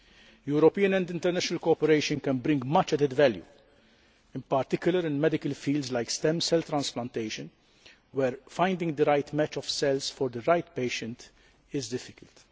European and international cooperation can bring much added value, in particular in medical fields like stem cell transplantation, where finding the right match of cells for the right patient is difficult.